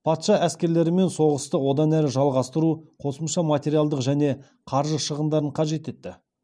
патша әскерлерімен соғысты одан әрі жалғастыру қосымша материалдық және қаржы шығындарын қажет етті